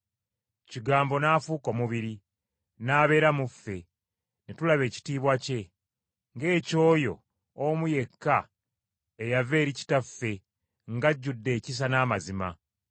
Kigambo n’afuuka omubiri, n’abeera mu ffe, ne tulaba ekitiibwa kye, ng’eky’oyo omu yekka eyava eri kitaffe ng’ajjudde ekisa n’amazima.